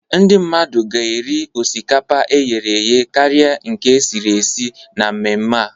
Ndị mmadụ ga-eri osikapa e ghere eghe karịa nke e siri esi na mmemme a.